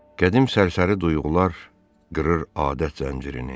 Qədim sərsəri duyğular qırır adət zəncirini.